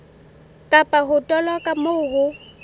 kapa ho toloka moo ho